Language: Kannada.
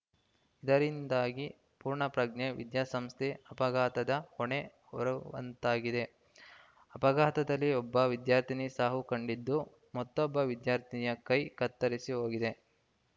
ಇದರಿಂದಾಗಿ ಪೂರ್ಣಪ್ರಜ್ಞ ವಿದ್ಯಾಸಂಸ್ಥೆ ಅಪಘಾತದ ಹೊಣೆ ಹೊರವಂತಾಗಿದೆ ಅಪಘಾತದಲ್ಲಿ ಒಬ್ಬ ವಿದ್ಯಾರ್ಥಿನಿ ಸಾವು ಕಂಡಿದ್ದು ಮತ್ತೊಬ್ಬ ವಿದ್ಯಾರ್ಥಿನಿಯ ಕೈ ಕತ್ತರಿಸಿ ಹೋಗಿದೆ